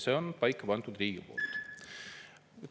Selle on riik paika pannud.